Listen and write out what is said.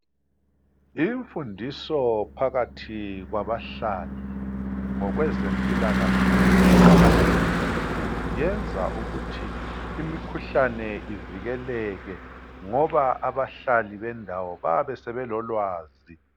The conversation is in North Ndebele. Imfundiso phakathi kwabahlali ngokwempilakahle iqakathekile kakhulu. Yenza imikhuhlane ivikeleke, ngoba abahlali, bendawo, bayabe sebelolwazi.